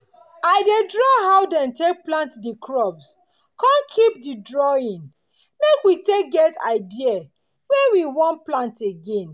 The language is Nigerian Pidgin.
i dey draw how dem take plant di crop con keep di drawing make we take get idea when we want plant again.